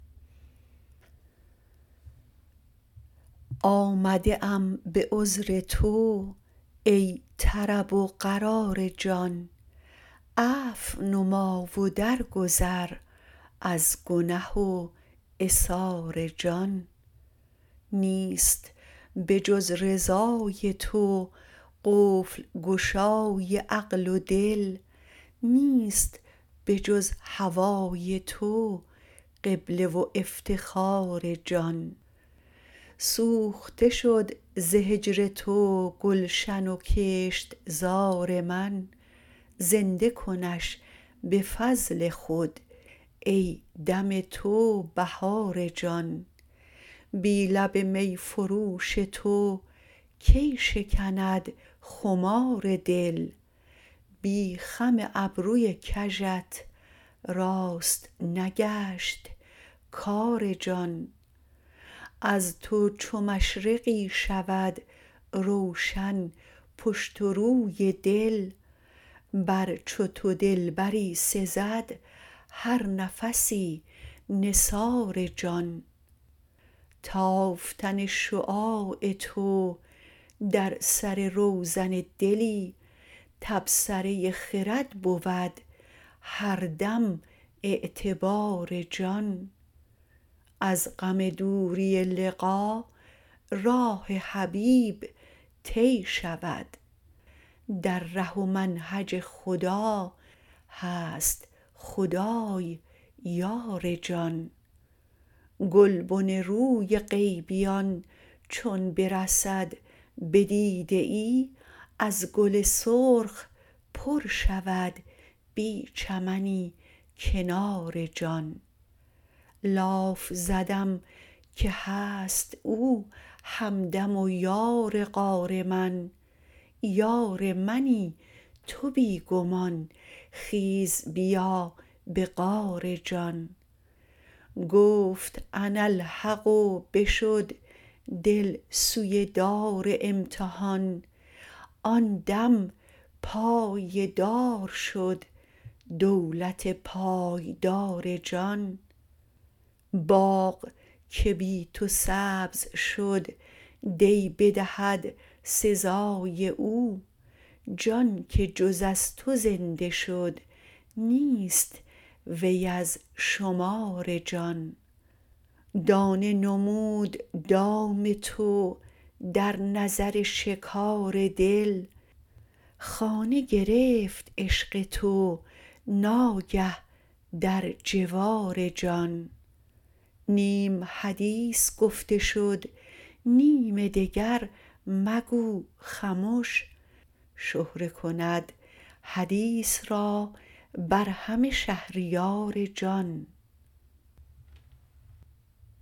آمده ام به عذر تو ای طرب و قرار جان عفو نما و درگذر از گنه و عثار جان نیست به جز رضای تو قفل گشای عقل و دل نیست به جز هوای تو قبله و افتخار جان سوخته شد ز هجر تو گلشن و کشت زار من زنده کنش به فضل خود ای دم تو بهار جان بی لب می فروش تو کی شکند خمار دل بی خم ابروی کژت راست نگشت کار جان از تو چو مشرقی شود روشن پشت و روی دل بر چو تو دلبری سزد هر نفسی نثار جان تافتن شعاع تو در سر روزن دلی تبصره خرد بود هر دم اعتبار جان از غم دوری لقا راه حبیب طی شود در ره و منهج خدا هست خدای یار جان گلبن روی غیبیان چون برسد بدیده ای از گل سرخ پر شود بی چمنی کنار جان لاف زدم که هست او همدم و یار غار من یار منی تو بی گمان خیز بیا به غار جان گفت اناالحق و بشد دل سوی دار امتحان آن دم پای دار شد دولت پایدار جان باغ که بی تو سبز شد دی بدهد سزای او جان که جز از تو زنده شد نیست وی از شمار جان دانه نمود دام تو در نظر شکار دل خانه گرفت عشق تو ناگه در جوار جان نیم حدیث گفته شد نیم دگر مگو خمش شهره کند حدیث را بر همه شهریار جان